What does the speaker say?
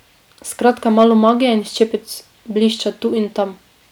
Skratka malo magije in ščepec blišča tu in tam.